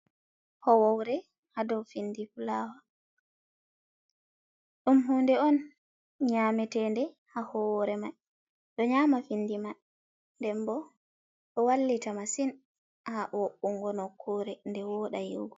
Howowre ha dow findi fulawa, ɗum hunde on nyametende ha hore mai ɗo nyama findi man nden bo ɗo wallita massin ha wo’ungo no kure nde woɗa yiugo.